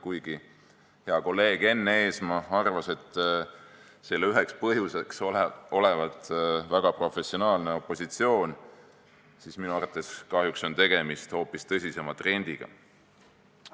Kuigi hea kolleeg Enn Eesmaa arvas, et selle üheks põhjuseks olevat väga professionaalne opositsioon, on minu arvates kahjuks tegemist hoopis tõsisema trendiga.